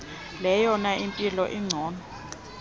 leyona mpilo ingcono